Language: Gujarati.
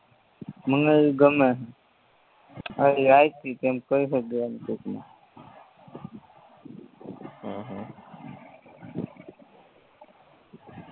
મને ઇ ગમે હે કય સક્યે એમ ટુકમાં હમ હમ